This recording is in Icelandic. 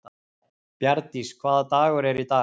Bjarndís, hvaða dagur er í dag?